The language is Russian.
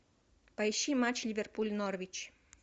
поищи матч ливерпуль норвич